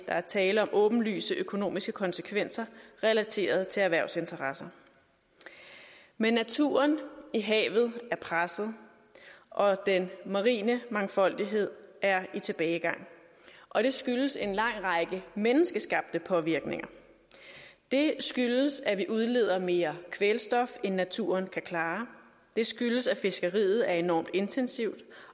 er tale om åbenlyse økonomiske konsekvenser relateret til erhvervsinteresser men naturen i havet er presset og den marine mangfoldighed er i tilbagegang og det skyldes en lang række menneskeskabte påvirkninger det skyldes at vi udleder mere kvælstof end naturen kan klare det skyldes at fiskeriet er enormt intensivt